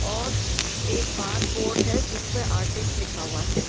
और एक बाहर बोर्ड है जिसपे आर्टिस्ट लिखा हुआ है।